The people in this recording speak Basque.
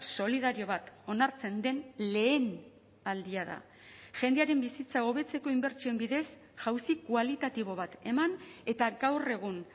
solidario bat onartzen den lehenaldia da jendearen bizitza hobetzeko inbertsioen bidez jauzi kualitatibo bat eman eta gaur egun